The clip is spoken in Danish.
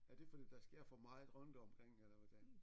Er det fordi der sker for meget rundt omkring eller hvordan